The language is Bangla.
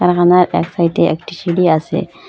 এহানের এক সাইড -এ একটি সিঁড়ি আসে।